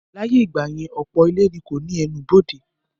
Láyé ìgbà yẹn, ọ̀pọ̀ ilé ni kò ní ẹnubodè